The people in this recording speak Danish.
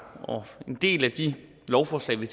en del af de lovforslag vi